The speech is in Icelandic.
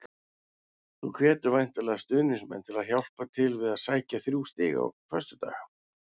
Þú hvetur væntanlega stuðningsmenn til að hjálpa til við að sækja þrjú stig á föstudag?